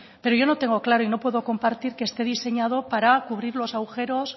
pero yo no tengo claro y no puedo compartir que esté diseñado para cubrir los agujeros